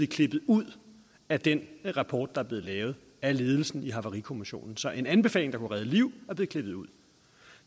klippet ud af den rapport der er blevet lavet af ledelsen i havarikommissionen så en anbefaling der kunne redde liv er blevet klippet ud